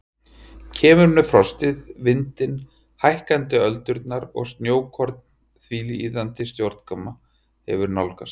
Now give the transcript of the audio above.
Kemur með frostið, vindinn, hækkandi öldurnar og snjókorn því iðandi snjókoman hefur nálgast.